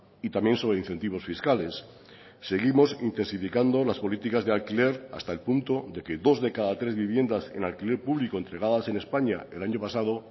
y también sobre incentivos fiscales seguimos intensificando las políticas de alquiler hasta el punto de que dos de cada tres viviendas en alquiler público entregadas en españa el año pasado